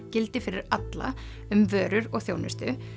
gildi fyrir alla um vörur og þjónustu